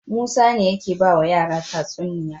Musa ne yake bawa yara tatsuniya